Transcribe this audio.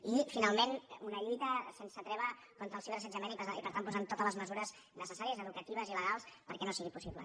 i finalment una lluita sense treva contra el ciberassetjament i per tant posant totes les mesures necessàries educatives i legals perquè no sigui possible